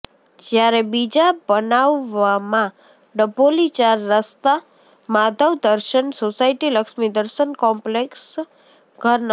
જ્યારે બીજા બનાવમાં ડભોલી ચાર રસ્તા માધવદર્શન સોસાયટી લક્ષ્મીદર્શન કોમ્પલેક્ષ ઘર નં